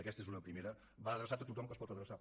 aquesta és una primera va adreçat a tothom a qui es pot adreçar